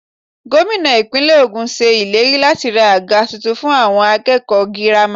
Gómìnà Ìpínlẹ̀ ogún ṣe ìlérí láti ra àga tuntun fún àwọn akẹ́kọ̀ọ́ girama.